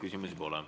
Küsimusi pole.